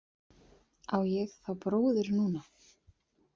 Á ég þá bróður núna?